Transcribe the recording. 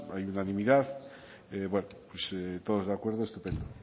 hay unanimidad bueno pues todos de acuerdo estupendo